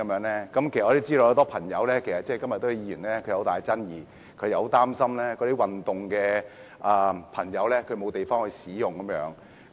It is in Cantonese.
其實，我知道很多朋友，以及今天很多議員對此也有異議，他們擔心一些想運動的朋友會沒有場地使用。